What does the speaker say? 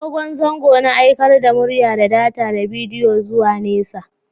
Dogon zango na aikar da murya, data da bidiyo zuwa nesa.